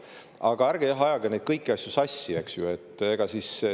Aga ärge ajage kõiki neid asju sassi, eks ju.